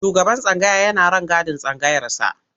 Shugaban tsangaya yana rangadin tsangayarsa.